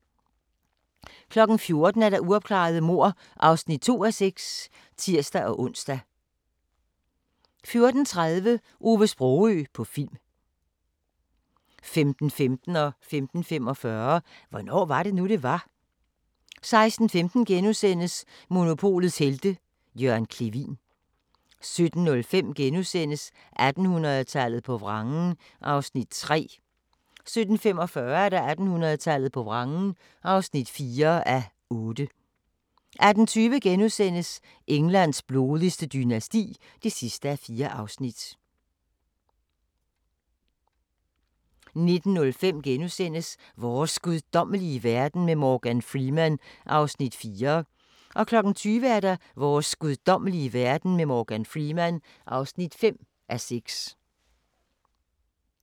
14:00: Uopklarede mord (2:6)(tir-ons) 14:30: Ove Sprogøe på film 15:15: Hvornår var det nu, det var? * 15:45: Hvornår var det nu, det var? 16:15: Monopolets Helte – Jørgen Clevin * 17:05: 1800-tallet på vrangen (3:8)* 17:45: 1800-tallet på vrangen (4:8) 18:20: Englands blodigste dynasti (4:4)* 19:05: Vores guddommelige verden med Morgan Freeman (4:6)* 20:00: Vores guddommelige verden med Morgan Freeman (5:6)